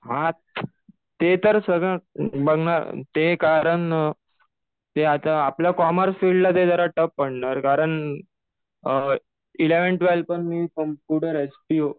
हा ते तर सगळं बघणार ते कारण ते आता आपल्या कॉमर्स फिल्डला ते जरा टफ पडणार कारण इलेव्हन, ट्वेल्थ पण मी कम्प्युटर एचपीओ